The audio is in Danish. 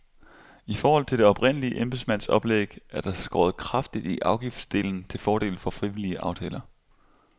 I forhold til det oprindelige embedsmandsoplæg er der skåret kraftigt i afgiftsdelen til fordel for frivillige aftaler.